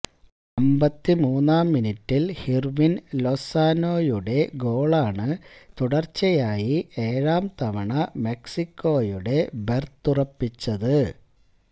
അമ്പത്തിമൂന്നാം മിനിറ്റിൽ ഹിർവിൻ ലൊസാനോയുടെ ഗോളാണ് തുടർച്ചയായി ഏഴാം തവണ മെക്സിക്കോയുടെ ബെർത്തുറപ്പിച്ചത്